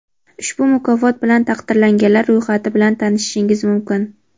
Ushbu mukofot bilan taqdirlanganlar ro‘yxati bilan tanishishingiz mumkin.